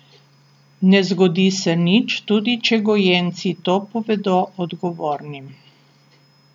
Ne zgodi se nič, tudi če gojenci to povedo odgovornim.